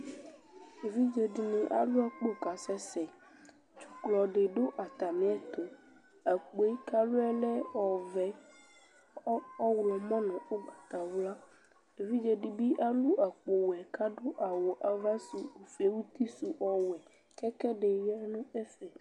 Evidzedini alu akpo kasɛsɛ dzuklɔ didu atamiɛtu akpo kalu yɛ lɛ ɔvɛ lɛ ɔɣlɔmɔ nu ugbatawla evidze dibi alu akpo wɛ kadu awu avasu uti su ɔwɛ ku ɛkuɛdi ya nu ɛfɛ